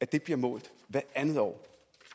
det målt hvert andet år